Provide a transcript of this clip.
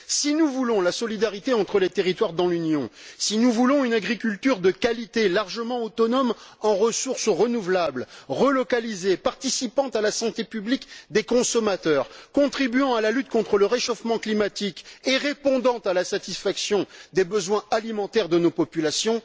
Si nous voulons la solidarité entre les territoires dans l'Union, si nous voulons une agriculture de qualité, largement autonome en ressources renouvelables, relocalisée, participant à la santé publique des consommateurs, contribuant à la lutte contre le réchauffement climatique et permettant de satisfaire les besoins alimentaires de nos populations,